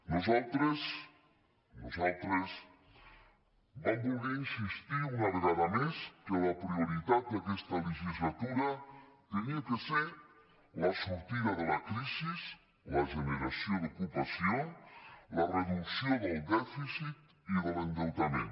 nosaltres nosaltres vam voler insistir una vegada més que la prioritat d’aquesta legislatura havia de ser la sortida de la crisi la generació d’ocupació la reducció del dèficit i de l’endeutament